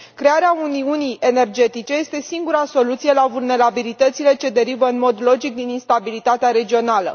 Crearea uniunii energetice este singura soluție la vulnerabilitățile ce derivă în mod logic din instabilitatea regională.